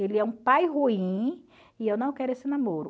Ele é um pai ruim e eu não quero esse namoro.